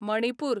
Manipur